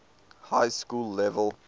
high school level